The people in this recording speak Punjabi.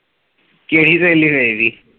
ਕਿਹੜੀ ਸਹੇਲੀ ਵੇਖ ਲਈ।